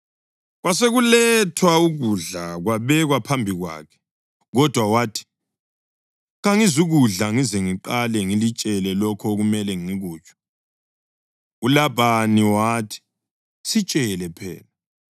Kwasekulethwa ukudla kwabekwa phambi kwakhe, kodwa wathi, “Kangizukudla ngize ngiqale ngilitshele lokho okumele ngikutsho.” ULabhani wathi, “Sitshele phela.”